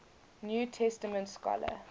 new testament scholar